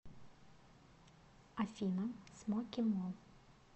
афина смоки мо